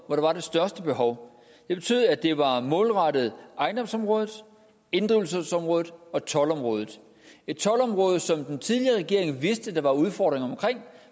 var det største behov det betød at det var målrettet ejendomsområdet inddrivelsesområdet og toldområdet et toldområde som den tidligere regering vidste der var udfordringer omkring